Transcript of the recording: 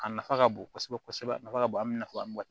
A nafa ka bon kosɛbɛ kosɛbɛ a nafa ka bon an bɛ nafa mun ka